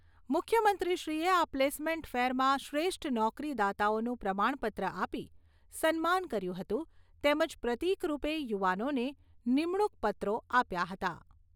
મુખ્યમંત્રીશ્રીએ આ પ્લેસમેન્ટ ફેરમાં શ્રેષ્ઠ નોકરી દાતાઓનું પ્રમાણપત્ર આપી સન્માન કર્યું હતું તેમજ પ્રતિકરૂપે યુવાનોને નિમણૂંક પત્રો આપ્યા હતા